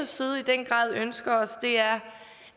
side i den grad ønsker os er